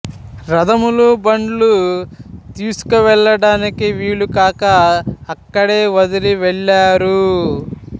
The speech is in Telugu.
రథములు బండ్లు తీసుకు వెళ్ళడానికి వీలు కాక అక్కడే వదిలి వెళ్ళారు